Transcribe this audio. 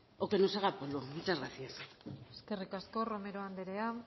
o que nos haga polvo muchas gracias eskerrik asko romero andrea